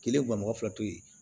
Kelen gan mɔgɔ fila to yen